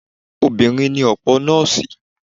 Obìnrin ni ọ̀pọ̀ Nọ́ọ̀sì.